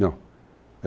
Não.